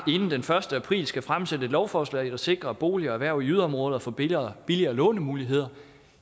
inden den første april skal fremsætte et lovforslag der sikrer at boliger og erhverv i yderområderne får billigere billigere lånemuligheder